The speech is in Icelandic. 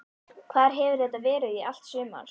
Hvar hefur þetta verið í allt sumar?